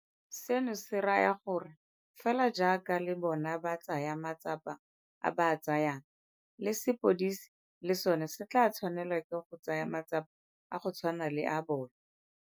Seno se raya gore fela jaaka le bona ba tsaya matsapa a ba a tsayang, le sepodisi le sona se tla tshwanela ke go tsaya matsapa a go tshwana le a bona.